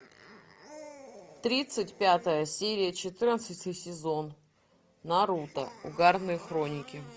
тридцать пятая серия четырнадцатый сезон наруто угарные хроники